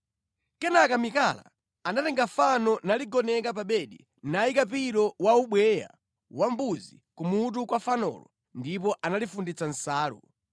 Kenaka Mikala anatenga fano naligoneka pa bedi nayika pilo wa ubweya wa mbuzi ku mutu kwa fanolo ndipo analifunditsa nsalu.